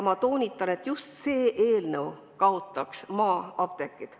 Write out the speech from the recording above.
Ma toonitan, et just see eelnõu kaotaks maa-apteegid.